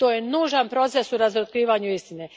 To je nužan proces u razotkrivanju istine.